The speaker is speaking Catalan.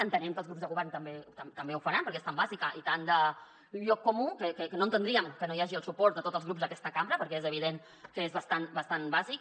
entenem que els grups de govern també ho faran perquè és tan bàsica i tan de lloc comú que no entendríem que no hi hagi el suport de tots els grups d’aquesta cambra perquè és evident que és bastant bàsic